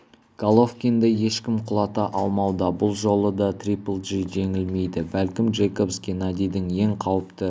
головкинді ешкім құлата алмауда бұл жолы да трипл джи жеңілмейді бәлкім джейкобс геннадийдің ең қауіпті